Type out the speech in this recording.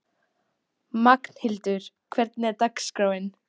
Magnhildur, hvernig er dagskráin?